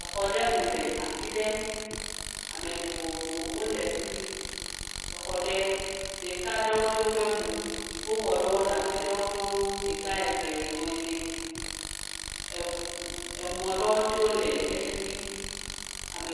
Xɔ aɖe mu le afi ɖe. Ame vovovowo le fi mi. Xɔ aɖe, ɖeka tsɛ aɖewo memu o. Dziƒoxɔ ɖe le afi aɖewo nyo, ɖeka, eve, etɔ̃, ene. Ŋu mɔ aɖewo tsɛ le fi mi.